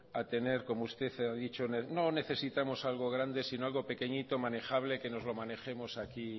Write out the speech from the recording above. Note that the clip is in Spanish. a tener como usted ha dicho no necesitamos algo grande sino algo pequeñito manejable que nos lo manejemos aquí